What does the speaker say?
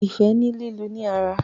ifẹ ni lílu ni ara.